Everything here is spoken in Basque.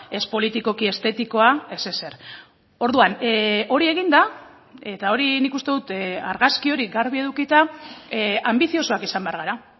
ez politikoki estetikoa ez ezer orduan hori eginda eta hori nik uste dut argazki hori garbi edukita anbiziosoak izan behar gara